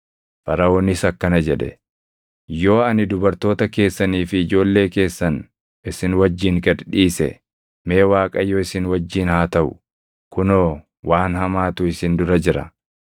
Faraʼoonis akkana jedhe; “Yoo ani dubartoota keessanii fi ijoollee keessan isin wajjin gad dhiise, mee Waaqayyo isin wajjin haa taʼu! Kunoo waan hamaatu isin dura jira.